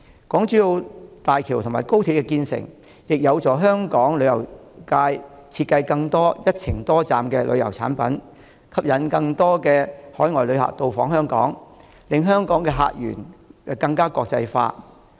港珠澳大橋及高鐵建成，亦有助香港旅遊業界設計更多"一程多站"的旅遊產品，吸引更多海外旅客到訪香港，令香港的客源更國際化。